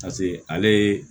ale ye